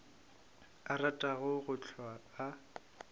a ratago go hlwa a